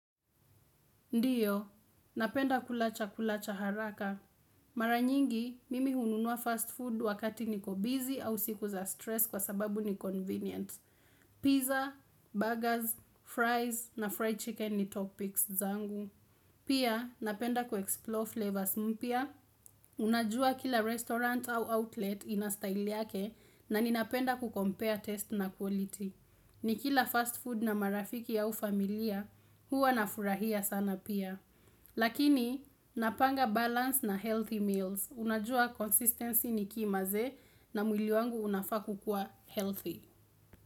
Ndiyo, napenda kulacha kulacha haraka. Mara nyingi, mimi hununua fast food wakati niko busy au siku za stress kwa sababu ni convenient. Pizza, burgers, fries na fried chicken ni top picks zangu. Pia napenda kuexplore flavors mpya, unajua kila restaurant au outlet ina style yake na ninapenda ku compare taste na quality. Nikila fast food na marafiki au familia huwa na furahia sana pia. Lakini napanga balance na healthy meals, unajua consistency ni key manze na mwili wangu unafaa kukua healthy.